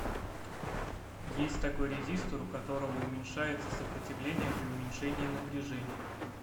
есть такой резистор у которого уменьшается сопротивление при уменьшении напряжения